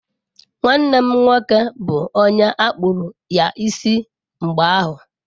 Nwanne m nwoke bụ onye akpụru ya isi mgbe ahụ.